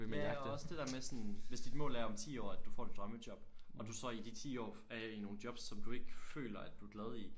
Ja og også det der med sådan hvis dit mål er om 10 år at du får dit drømmejob og at du så i de 10 år er i nogle jobs som du ikke føler at du er glad i